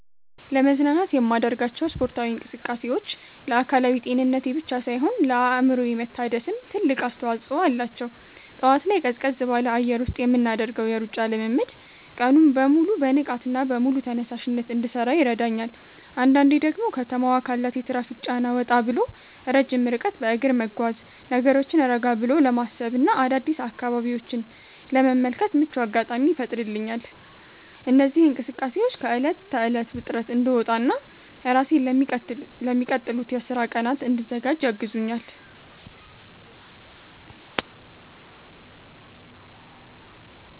ለመዝናናት የማደርጋቸው ስፖርታዊ እንቅስቃሴዎች ለአካላዊ ጤንነቴ ብቻ ሳይሆን ለአእምሮዬ መታደስም ትልቅ አስተዋጽኦ አላቸው። ጠዋት ላይ ቀዝቀዝ ባለ አየር ውስጥ የምናደርገው የሩጫ ልምምድ ቀኑን በሙሉ በንቃትና በሙሉ ተነሳሽነት እንድሠራ ይረዳኛል። አንዳንዴ ደግሞ ከተማዋ ካላት የትራፊክ ጫና ወጣ ብሎ ረጅም ርቀት በእግር መጓዝ፣ ነገሮችን ረጋ ብሎ ለማሰብና አዳዲስ አካባቢዎችን ለመመልከት ምቹ አጋጣሚ ይፈጥርልኛል። እነዚህ እንቅስቃሴዎች ከዕለት ተዕለት ውጥረት እንድወጣና ራሴን ለሚቀጥሉት የሥራ ቀናት እንድዘጋጅ ያግዙኛል።